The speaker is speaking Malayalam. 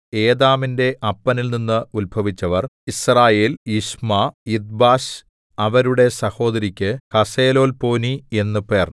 ഏതാമിന്റെ അപ്പനിൽനിന്ന് ഉത്ഭവിച്ചവർ യിസ്രയേൽ യിശ്മാ യിദ്ബാശ് അവരുടെ സഹോദരിക്ക് ഹസ്സെലൊല്പോനി എന്നു പേർ